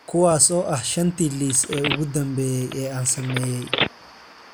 kuwaas oo ah shantii liis ee ugu dambeeyay ee aan sameeyay